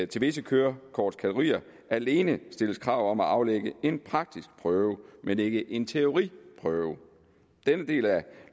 til visse kørekortkategorier alene stilles krav om at aflægge en praktisk prøve men ikke en teoriprøve den del af